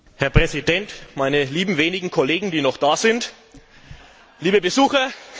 Herr Präsident, meine lieben wenigen Kollegen, die noch da sind, liebe Besucher!